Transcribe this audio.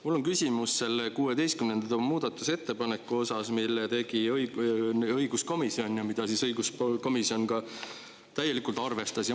Mul on küsimus 16. muudatusettepaneku kohta, mille tegi õiguskomisjon ja mida õiguskomisjon ka täielikult arvestas.